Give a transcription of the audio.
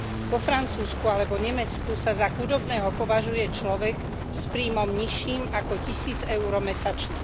Vo Francúzsku alebo Nemecku sa za chudobného považuje človek s príjmom nižším ako tisíc euro mesačne.